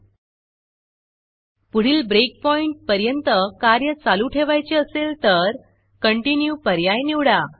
पुढील breakpointब्रेकपॉइण्ट पर्यंत कार्य चालू ठेवायचे असेल तर Continueकंटिन्यू पर्याय निवडा